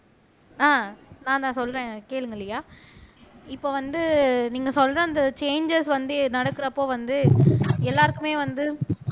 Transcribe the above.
ஆஹ் நான்தான் சொல்றேன் கேளுங்க லியா இப்ப வந்து நீங்க சொல்ற அந்த சேஞ்சஸ் வந்து நடக்குறப்ப வந்து எல்லாருக்குமே வந்து